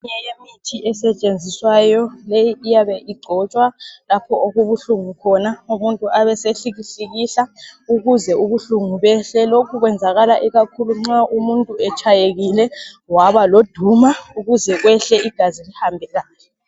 Eminye yemithi esetshenziswayo leyi iyabe igcotshwa lapho okubuhlungu khona, umuntu abesehlikihlikihla ukuze ubuhlungu behle , lokhu kwenzakala ikakhulu umuntu nxa etshayekile waba loduma kuze kwehle igazi lihambe kahle.